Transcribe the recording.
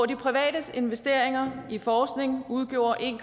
de privates investeringer i forskning udgjorde en